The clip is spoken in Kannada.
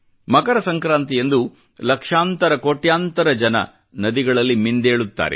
ಮಕರ ಸಂಕ್ರಾಂತಿಯಂದು ಲಕ್ಷಾಂತರ ಕೋಟ್ಯಾಂತರ ಜನರು ನದಿಗಳಲ್ಲಿ ಮಿಂದೇಳುತ್ತಾರೆ